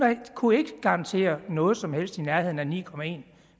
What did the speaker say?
kunne ikke garantere noget som helst i nærheden af ni